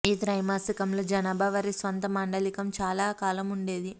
ఈ త్రైమాసికంలో జనాభా వారి స్వంత మాండలికం చాలా కాలం ఉండేది